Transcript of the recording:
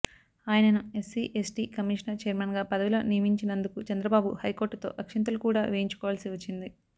ఆయనను SC ST commission chairman గా పదవిలో నియమించినందుకు చంద్రబాబు హైకోర్టుతో అక్షింతలు కూడా వేయించుకోవాల్సి వచ్చింది